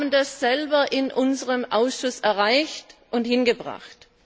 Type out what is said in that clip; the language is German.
Wir haben das selber in unserem Ausschuss erreicht und hingebracht.